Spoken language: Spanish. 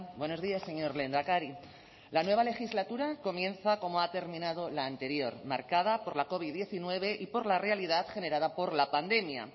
buenos días señor lehendakari la nueva legislatura comienza como ha terminado la anterior marcada por la covid diecinueve y por la realidad generada por la pandemia